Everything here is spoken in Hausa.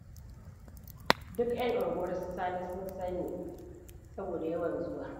Duk 'yan unguwar su Sani sun sanni, saboda yawan zuwa.